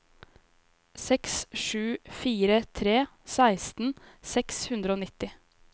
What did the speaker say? seks sju fire tre seksten seks hundre og nitti